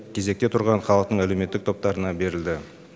кезекте тұрған халықтың әлеуметтік топтарына берілді